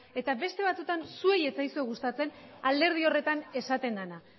eta beste batzuetan zuei ez zaizue gustatzen alderdi horretan esaten dena